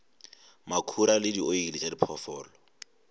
makhura le dioli tša diphoofolo